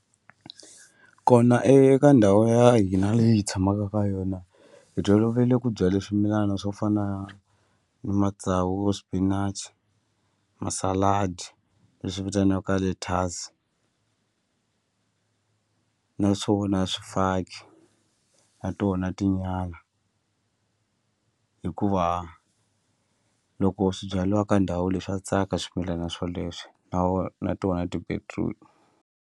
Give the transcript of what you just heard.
Kona eka ndhawu ya hina leyi hi tshamaka ka yona hi tolovele ku byale swimilana swo fana ni matsavu swipinachi masaladi lexi vitaniwaka lettuce naswona swifaki na tona tinyala hikuva loko swibyaliwa ka ndhawu le swa tsaka swimilana swoleswo na na tona ti-beetroot.